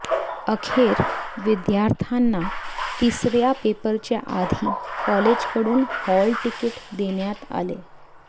अखेर विद्यार्थ्यांना तिसऱ्या पेपरच्या आधी कॉलेजकडून हॉल तिकीट देण्यात आले